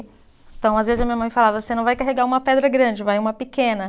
Então, às vezes, a minha mãe falava, você não vai carregar uma pedra grande, vai uma pequena.